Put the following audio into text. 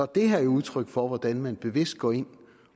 det her et udtryk for hvordan man bevidst går ind